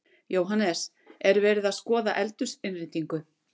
Jóhannes: Er verið að skoða eldhúsinnréttingu?